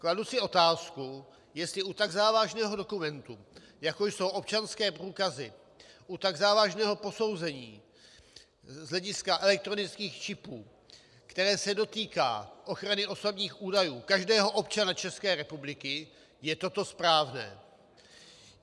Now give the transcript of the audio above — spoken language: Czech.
Kladu si otázku, jestli u tak závažného dokumentu, jako jsou občanské průkazy, u tak závažného posouzení z hlediska elektronických čipů, které se dotýká ochrany osobních údajů každého občana České republiky, je toto správné.